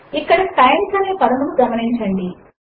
ఇక్కడ టైమ్స్ అనే పదమును గమనించండి